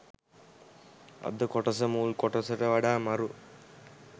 අද කොටස මුල් කොටසට වඩා මරු.